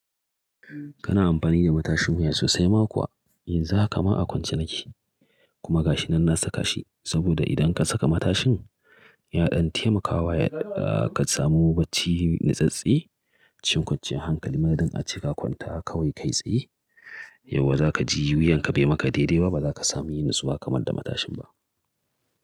Kana amfani da matashin wuya sosai ma kuwa, yanzu haka ma a kwance nake, kuma gashinan na saka shi. Saboda idan ka saka matashin, ya ɗan taimakawa ka samu bacci natsattse. Shin kwanciyan hankali ma dan a ce ka kwanta haka kawai kai tsaye, yauwa za ka ji wuyan ka bai maka daidai ba, ba za ka samu yin natsuwa kamar da matashin ba.